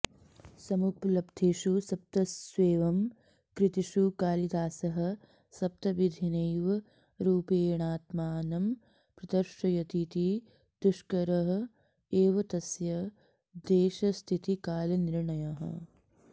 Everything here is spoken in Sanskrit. समुपलब्धेषु सप्तस्वेवं कृतिषु कालिदासः सप्तविधेनैव रूपेणात्मानं प्रदर्शयतीति दुष्कर एव तस्य देशस्थितिकालनिर्णयः